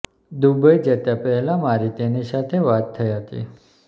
Dubai જતા પહેલા મારી તેની સાથે વાત થઈ હતી